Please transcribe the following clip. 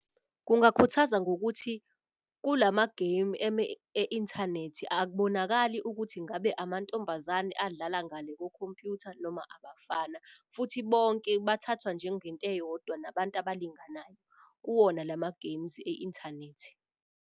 Kungakhuthaza ngokuthi kulama-game e-inthanethi akubonakali ukuthi ngabe amantombazane adlala ngale kokhompuyutha noma abafana. Futhi bonke bathathwa njengento eyodwa nabantu abalinganayo kuwona lama games e-inthanethi.